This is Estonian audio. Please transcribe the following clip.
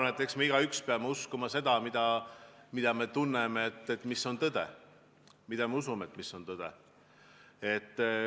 Ma arvan, et eks me igaüks peame uskuma seda, mille kohta me tunneme, et see on tõde, mille kohta me usume, et see on tõde.